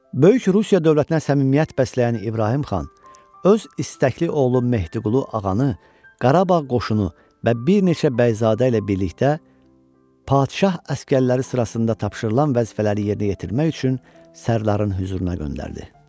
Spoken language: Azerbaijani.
Böyük Rusiya dövlətinə səmimiyyət bəsləyən İbrahim xan öz istəkli oğlu Mehdiqulu Ağa'nı Qarabağ qoşunu və bir neçə bəyzadə ilə birlikdə padşah əsgərləri sırasında tapşırılan vəzifələri yerinə yetirmək üçün Sərdarın hüzuruna göndərdi.